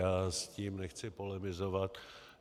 Já s tím nechci polemizovat.